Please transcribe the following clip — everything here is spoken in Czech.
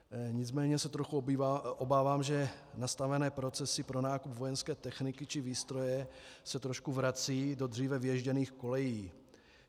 Nicméně se trochu obávám, že nastavené procesy pro nákup vojenské techniky či výstroje se trošku vracejí do dříve vyježděných kolejí.